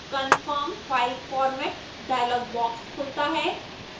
confirm file format dialog box खुलता है